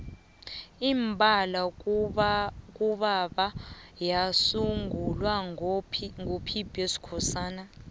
imbala ngubaba yasungulwa ngo pb skhosana